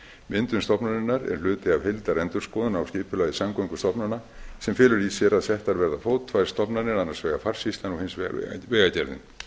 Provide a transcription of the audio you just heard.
myndun stofnunarinnar er hluti af heildarendurskoðun á skipulagi samgöngustofnana sem felur í sér að settar verði á fót tvær stofnanir annars vegar farsýslan og hins vegar vegagerðin